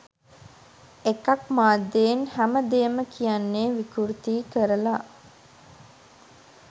එකක්‌ මාධ්‍යයෙන් හැම දේම කියන්නෙ විකෘති කරලා